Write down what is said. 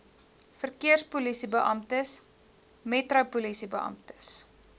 verkeerspolisiebeamptes metro polisiebeamptes